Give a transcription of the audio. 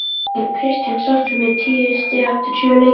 Er Kristján sáttur með tíu stig eftir sjö leiki?